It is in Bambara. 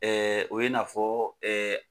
o ye i n'a fɔ